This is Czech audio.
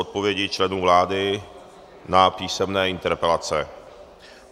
Odpovědi členů vlády na písemné interpelace